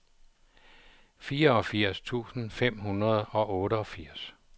fireogfirs tusind fem hundrede og otteogfirs